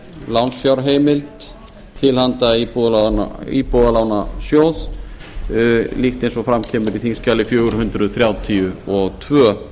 lánsfjárheimild til handa íbúðalánasjóði líkt eins og fram kemur í þingskjali fjögur hundruð þrjátíu og tvö